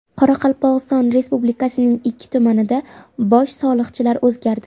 Qoraqalpog‘iston Respublikasining ikki tumanida bosh soliqchilar o‘zgardi.